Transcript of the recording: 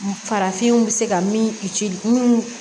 Farafinw bɛ se ka min ci minnu